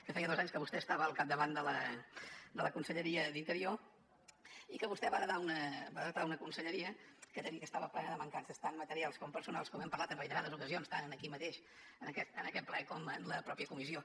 que feia dos anys que vostè estava al capdavant de la conselleria d’interior i que vostè va heretar una conselleria que he de dir que estava plena de mancances tant materials com personals com hem parlat en reiterades ocasions tant aquí mateix en aquest ple com en la mateixa comissió